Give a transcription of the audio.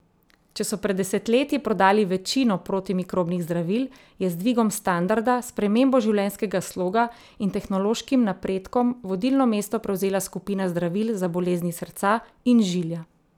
Če so pred desetletji prodali večino protimikrobnih zdravil, je z dvigom standarda, spremembo življenjskega sloga in tehnološkim napredkom vodilno mesto prevzela skupina zdravil za bolezni srca in žilja.